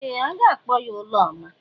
Ee! A ga-akpọ ya Ụlọma.